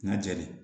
N ka jɛni